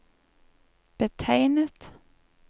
betegnet